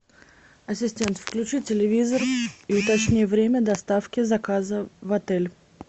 ассистент включи телевизор и уточни время доставки заказа в отель